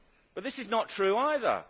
But this is not true either.